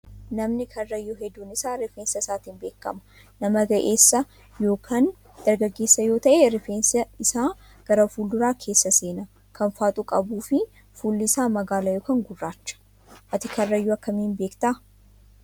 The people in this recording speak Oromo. Namni karrayyuu hedduun isaa rifeensa isaatiin beekama. Nama ga'eessa yookaan dargaggeessa yoo ta'e rifeensi isaa karaa fuulduraa keessa seenaa kan faaxuu qabuu fi fuulli isaa magaala yookaan gurraacha. Ati karrayyuu akkamiin beektaa?